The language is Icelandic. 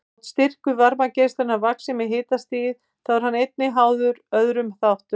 Þótt styrkur varmageislunar vaxi með hitastigi þá er hann einnig háður öðrum þáttum.